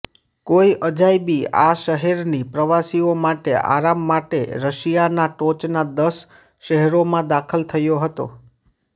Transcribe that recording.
કોઈ અજાયબી આ શહેરની પ્રવાસીઓ માટે આરામ માટે રશિયાના ટોચના દસ શહેરોમાં દાખલ થયો હતો